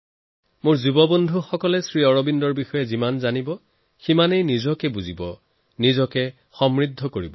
মোৰ যুৱবন্ধুসকলে শ্ৰী অৰবিন্দক যিমান জানিব সিমানেই নিজেই নিজক জানিব নিজক সমৃদ্ধ কৰিব